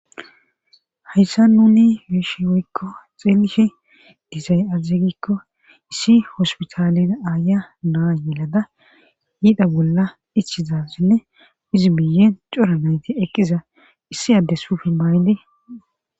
hayssa nuni beyishi woykko xeelishe dizay azeygikko issi hospitalin aaya naa yelada yiida bolla ichizasenne izi biyen cora nayti eqqiza issi addes sufinmaayndi